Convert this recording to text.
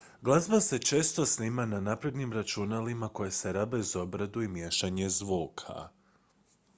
glazba se često snima na naprednim računalima koja se rabe za obradu i miješanje zvuka